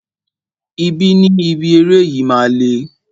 Ibi ni ibi eré yìí máa le.